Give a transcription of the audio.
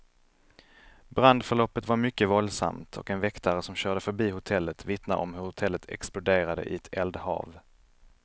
Brandförloppet var mycket våldsamt, och en väktare som körde förbi hotellet vittnar om hur hotellet exploderade i ett eldhav.